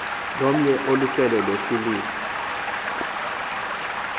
lomnye olusele luhloliwe